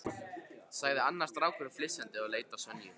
sagði annar strákurinn flissandi og leit á Sonju.